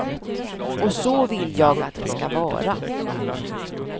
Och så vill jag att det ska vara.